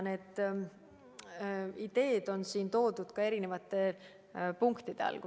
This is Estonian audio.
Need ideed on siin toodud eri punktide all.